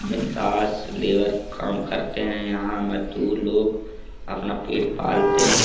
बिंदास लेबर काम करते हैं यहां मजदूर लोग अपना पेट पालते हैं।